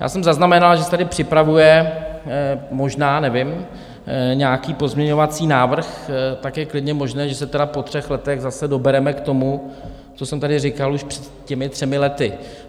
Já jsem zaznamenal, že se tady připravuje - možná, nevím - nějaký pozměňovací návrh, tak je klidně možné, že se tedy po třech letech zase dobereme k tomu, co jsem tady říkal už před těmi třemi lety.